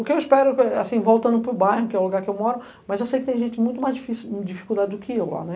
O que eu espero eh eh, assim, voltando para o bairro, que é o lugar que eu moro, mas eu sei que tem gente muito mais difícil, em dificuldade do que eu lá, né.